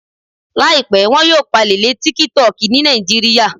Làìpẹ́, wọn yóò pàlè lé tíkítọki ní Nàìjíríà